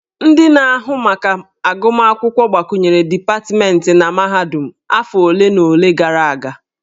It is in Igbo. Ndị na-ahụ maka agụmakwụkwọ gbakwunyere dipatmentị na mahadum afọ ole na ole gara aga.